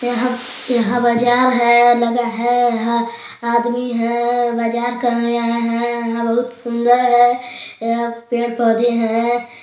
यहाँ यहाँ बाजार हैलगा है यहाँ आदमी है बाजार करने आये हैं यहाँ बहुत सुन्दर है पेड़-पौधे हैं।